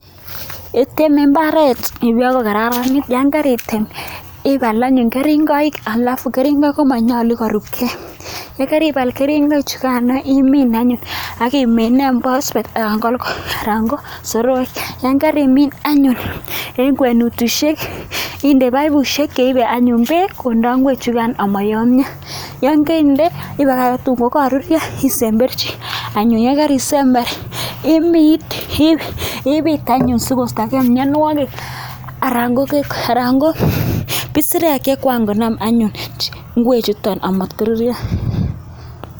Kiteme imbaret bakokararanit ibal anyun keringoi anyun akomanyalu korub gei keringonik yekaribal keringonik chugan imin anyun akimine phosphate anan ko soroek ak yangarimin anyun en gwenutushek inde baibushek cheibe anyun bek konda ingwek chugan amayamia yangaindee ibakakte tun yangagorurio isemberchi anyun yangarisember bit anyun sikostagei mianwagik anan ko isirek chekangonam anyun ngwek chuton amatkorurio